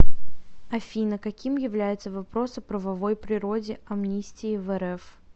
афина каким является вопрос о правовой природе амнистии в рф